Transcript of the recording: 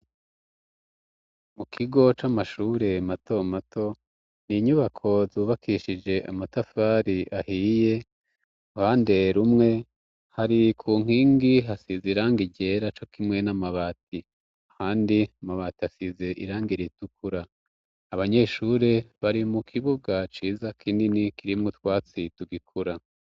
Mu kigo c'amashure matomato, n'inyubako zubakishije amatafari ahiye uruhande rumwe hari ku nkingi hasize irangi yera co kimwe n'amabati, kandi amabati asize irangi ritukura, abanyeshure bari mu kibuga ciza kinini kirimwo utwatsi tugikura.